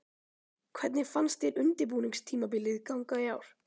Hvernig fannst þér undirbúningstímabilið ganga í ár?